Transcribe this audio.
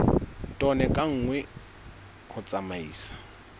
tone ka nngwe ho tsamaisa